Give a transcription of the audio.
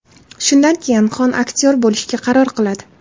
Shundan keyin Xon aktyor bo‘lishga qaror qiladi.